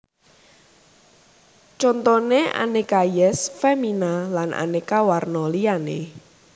Contone Aneka Yess Femina lan aneka warna liyane